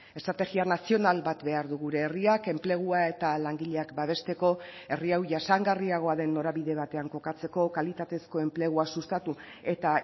estrategia nazional bat behar du gure herriak enplegua eta langileak babesteko herri hau jasangarriagoa den norabide batean kokatzeko kalitatezko enplegua sustatu eta